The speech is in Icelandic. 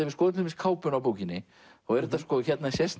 við skoðum til dæmis kápuna á bókinni hérna sést